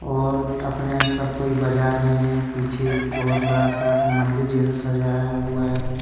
और अपने सब कोई बजा रहे है पीछे बहुत बड़ा सा मन्दिर जैसा सजाया हुआ हैं।